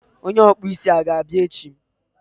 onye isi isi a ga-abia echi?